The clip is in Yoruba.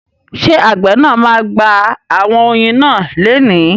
Ṣé àgbẹ̀ náà ma gba àwọn oyin náà leni?